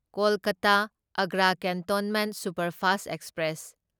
Kolkata Agra cantonment superfast express